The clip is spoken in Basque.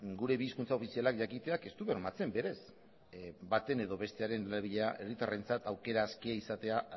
gure bi hizkuntza ofizialak jakiteak ez du bermatzen berez baten edo bestearen erabilera herritarrentzat aukera askea izatea